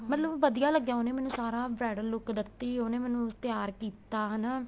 ਮਤਲਬ ਵਧੀਆ ਲੱਗਿਆ ਉਹਨੇ ਮੈਨੂੰ ਸਾਰਾ bridal look ਦਿੱਤੀ ਉਹਨੇ ਮੈਨੂੰ ਤਿਆਰ ਕੀਤਾ ਹਨਾ